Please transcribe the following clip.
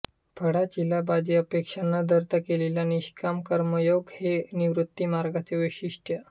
फळाचीलाभाची अपेक्षा न धरता केलेला निषकाम कर्मयोग हे निवृत्तीमार्गाचे वैशिष्ट्य